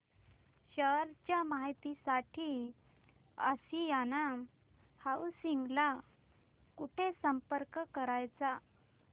share च्या माहिती साठी आशियाना हाऊसिंग ला कुठे संपर्क करायचा